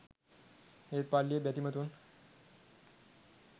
ඒත් පල්ලියේ බැතිමතුන්